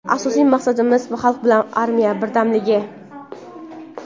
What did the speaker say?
Asosiy maqsadimiz – xalq bilan armiya birdamligi.